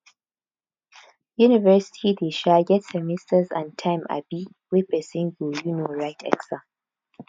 university dey um get semesters and time um wey person go um write exam